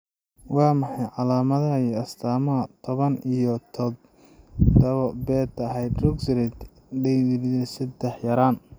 Waa maxay calaamadaha iyo astaamaha toban iyo tothabo beta hydroxysteroid dehydrogenase sedax yaraan?